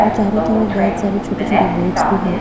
और चारो तरफ बहुत सारे छोटे छोटे बोट्स भी है।